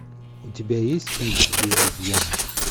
у тебя есть фильм без изъяна